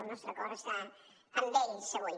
el nostre cor està amb ells avui